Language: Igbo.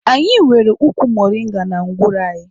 Anyị nwere ụkwụ moringa na ngwuru anyị.